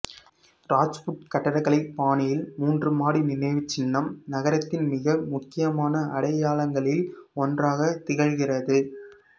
ராஜ்புத் கட்டடக்கலை பாணியில் மூன்று மாடி நினைவுச்சின்னம் நகரத்தின் மிக முக்கியமான அடையாளங்களில் ஒன்றாகா திகழ்கிறது